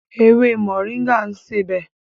Ewé Moringa ṣe é sebẹ̀.